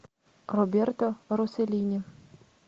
роберто росселлини